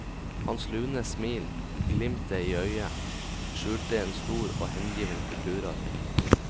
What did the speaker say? Hans lune smil, glimtet i øyet, skjulte en stor og hengiven kulturarv.